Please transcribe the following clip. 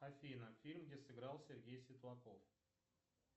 афина фильм где сыграл сергей светлаков